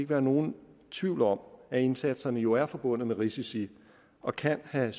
være nogen tvivl om at indsatserne jo er forbundet med risici og kan have